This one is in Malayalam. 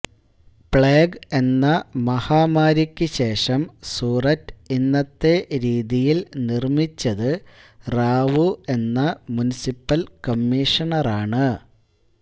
പ്ലേഗ് എന്ന മഹാമാരിക്ക് ശേഷം സൂററ്റ് ഇന്നത്തെ രീതിയിൽ നിർമ്മിച്ചത് റാവു എന്ന മുനിസിപ്പൽ കമ്മീഷണറാണ്